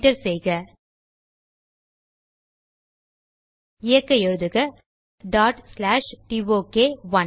enter செய்க இயக்க எழுதுக டோக்1